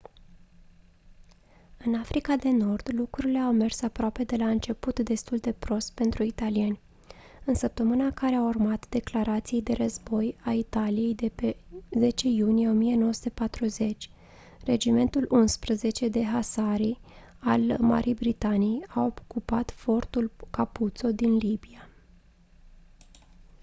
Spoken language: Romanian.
în africa de nord lucrurile au mers aproape de la început destul de prost pentru italieni în săptămâna care a urmat declarației de război a italiei de pe 10 iunie 1940 regimentul 11 de husari al marii britanii a ocupat fortul capuzzo din libia